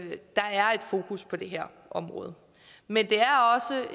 der er fokus på det her område men